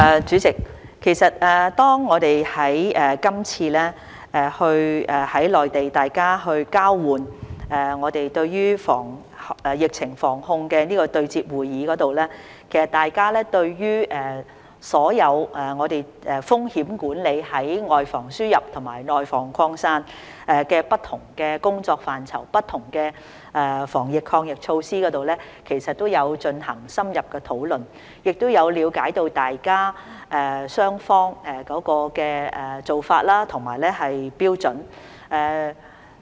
主席，今次在內地的疫情防控工作對接會議上，大家對於所有風險管理、外防輸入和內防擴散的不同工作範疇及不同防疫抗疫措施，都有進行深入討論，也有了解雙方的做法和標準。